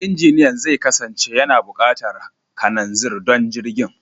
Injiniyan zai kasance yana buƙatar kananzir don jirgin.